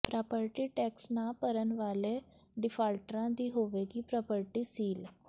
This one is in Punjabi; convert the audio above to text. ਪ੍ਰਾਪਰਟੀ ਟੈਕਸ ਨਾ ਭਰਨ ਵਾਲੇ ਡਿਫਾਲਟਰਾਂ ਦੀ ਹੋਵੇਗੀ ਪ੍ਰਾਪਰਟੀ ਸੀਲ